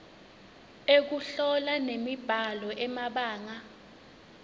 ekuhlola nemibhalo emabanga